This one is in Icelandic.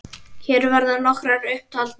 Hér verða nokkrar upp taldar